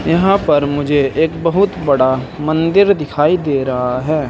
यहां पर मुझे एक बहुत बड़ा मंदिर दिखाई दे रहा है।